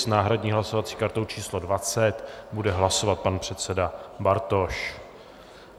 S náhradní hlasovací kartou číslo 20 bude hlasovat pan předseda Bartoš.